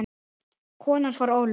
Kona hans var Ólöf